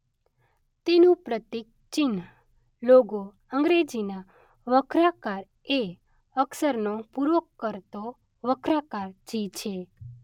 તેનું પ્રતીક-ચિહ્ન, લોગો અંગ્રેજીના વક્રાકાર એ અક્ષરને પૂરો કરતો વક્રાકાર જી છે.